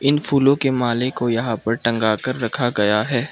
इन फूलों के माले को यहां पर टंगा कर रखा गया है।